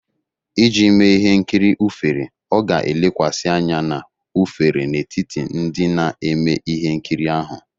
Iji mee ihe nkiri ufere, ọ ga-elekwasị anya na ufere n'etiti ndị na-eme ihe nkiri ahu